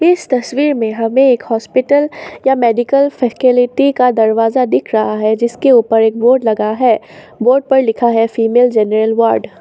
इस तस्वीर में हमें एक हॉस्पिटल या मेडिकल फैसिलिटी का दरवाजा दिख रहा है जिसके ऊपर एक बोर्ड लगा है बोर्ड पर लिखा है फीमेल जनरल वार्ड ।